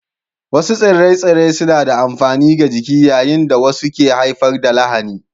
Wasu tsire-tsire suna da amfani ga jiki yayin da wasu ke haifar da lahani